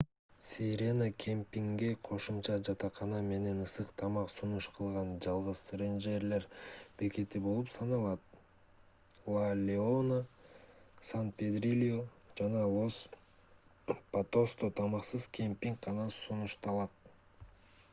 сирена кемпингге кошумча жатакана менен ысык тамак сунуш кылган жалгыз рейнджерлер бекети болуп саналат ла леона сан педрильо жана лос патосто тамаксыз кемпинг гана сунушталат